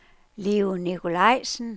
Leo Nikolajsen